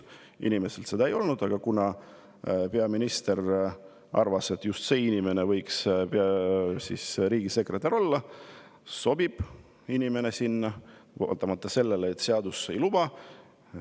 Sel inimesel seda ei olnud, aga kuna peaminister arvas, et just see inimene võiks riigisekretär olla, siis ta sobib vaatamata sellele, et seadus seda ei luba.